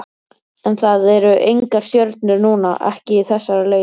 En það eru engar stjörnur núna, ekki í þessari legu.